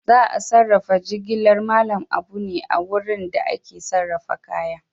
Za a sarrafa jigilar Mallam Abu ne a wurin da ake sarrafa kaya.